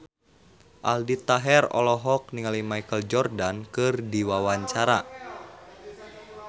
Aldi Taher olohok ningali Michael Jordan keur diwawancara